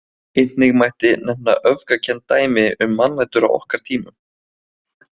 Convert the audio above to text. Einnig mætti nefna öfgakennd dæmi um mannætur á okkar tímum.